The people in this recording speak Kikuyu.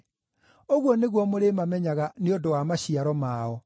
Ũguo nĩguo mũrĩmamenyaga nĩ ũndũ wa maciaro mao.